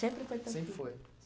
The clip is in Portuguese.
Sempre foi tranquilo. Sempre foi